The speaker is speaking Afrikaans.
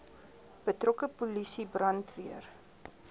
betrokke polisie brandweer